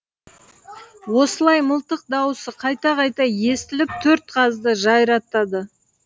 осылай мылтық дауысы қайта қайта естіліп төрт қазды жайратады